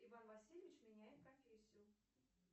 иван васильевич меняет профессию